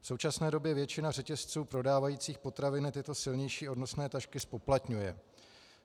V současné době většina řetězců prodávajících potraviny tyto silnější odnosné tašky zpoplatňuje.